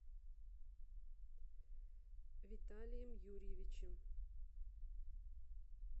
виталием юрьевичем